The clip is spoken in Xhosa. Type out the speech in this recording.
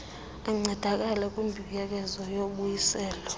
ancedakala kwimbuyekezo yobuyiselo